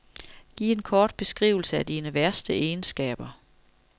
Giv en kort beskrivelse af dine værste egenskaber.